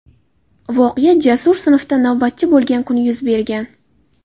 Voqea Jasur sinfda navbatchi bo‘lgan kuni yuz bergan.